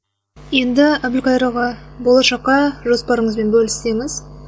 енді әбілқайыр аға болашаққа жоспарыңызбен бөліссеңіз